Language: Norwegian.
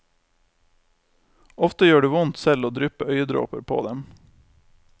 Ofte gjør det vondt selv å dryppe øyedråper på dem.